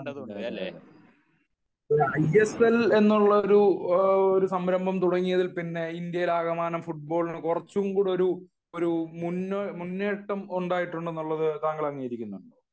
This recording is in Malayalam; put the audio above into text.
ഐ എസ് എൽ എന്നുള്ള ഒരു സാരംഭം തുടങ്ങിയതിൽ പിന്നെ ഇന്ത്യയിൽ ആകമാനം ഫുട്ബോളിന് കുറച്ചുകൂടി ഒരു മുന്നേറ്റം ഉണ്ടായിട്ടുണ്ടെന്ന് താങ്കൾ അംഗീകരിക്കുന്നുണ്ടോ